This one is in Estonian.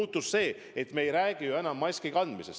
Muutus see, et me ei räägi ju enam ainult maski kandmisest.